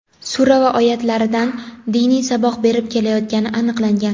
sura va oyatlaridan diniy saboq berib kelayotgani aniqlangan.